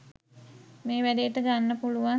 මේ වැඩේට ගන්න පුළුවන්